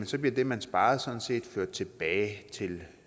så bliver det man sparer sådan set ført tilbage til